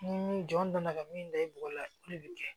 Ni jɔn nana ka min da i bɔgɔ la olu bi kɛ